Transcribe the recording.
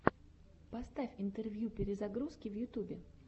поставь интервью перезагрузки в ютубе